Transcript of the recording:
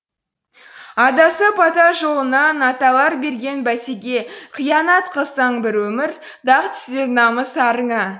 адасып ата жолынан аталар берген бәтеге қиянат қылсаң бір өмір дақ түсер намыс арыңа